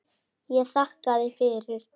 Ég þakkaði fyrir.